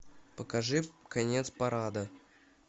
покажи конец парада